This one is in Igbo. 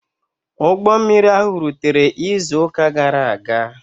Ụgbọ mmiri ahụ rụtere izu ụka gara aga.